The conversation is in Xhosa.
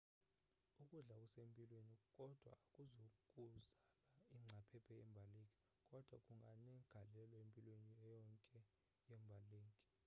ukudla okusempilweni kodwa akuzukuzala ingcaphephe yembaleki kodwa kunganegalelo empilweni iyonke yembaleki